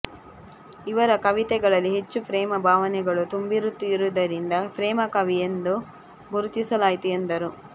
ಇವರ ಕವಿತೆಗಳಲ್ಲಿ ಹೆಚ್ಚು ಪ್ರೇಮ ಭಾವನೆಗಳು ತುಂಬಿರುತ್ತಿದ್ದರಿಂದ ಪ್ರೇಮಕವಿ ಎಂದು ಗುರುತಿಸಲಾಯಿತು ಎಂದರು